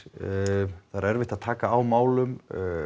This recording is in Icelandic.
það er erfitt að taka á málum